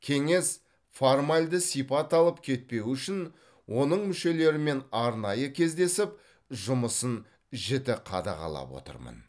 кеңес формальды сипат алып кетпеуі үшін оның мүшелерімен арнайы кездесіп жұмысын жіті қадағалап отырмын